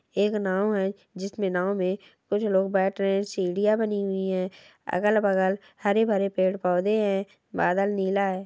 एक नाव है जिसमें नाव मे कुछ लोग बैठ रहे है सीढ़िया बनी हुई है अगल-बगल हरे-भरे पेड़-पौधे है बादल नीला है।